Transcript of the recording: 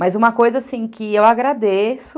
Mas uma coisa que eu agradeço...